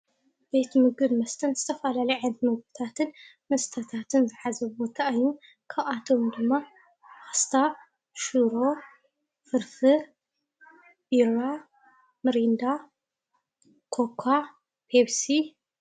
ቤት ምግቢን መስተን ዝተፈላለዩ ዓይነታት ምግቢታትን መስተን ዝሓዘ ቦታ እዩ፡፡ ካብአቶም ድማ ፓስታ፣ ሽሮ፣ ፍርፍር፣ ቢራ፣ ሚሪንዳ፣ ኮካ፣ ፔፕሲ...